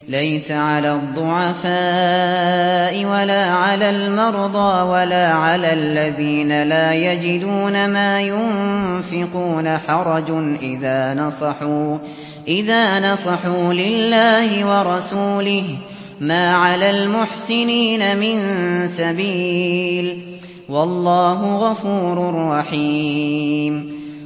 لَّيْسَ عَلَى الضُّعَفَاءِ وَلَا عَلَى الْمَرْضَىٰ وَلَا عَلَى الَّذِينَ لَا يَجِدُونَ مَا يُنفِقُونَ حَرَجٌ إِذَا نَصَحُوا لِلَّهِ وَرَسُولِهِ ۚ مَا عَلَى الْمُحْسِنِينَ مِن سَبِيلٍ ۚ وَاللَّهُ غَفُورٌ رَّحِيمٌ